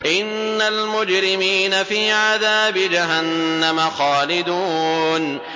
إِنَّ الْمُجْرِمِينَ فِي عَذَابِ جَهَنَّمَ خَالِدُونَ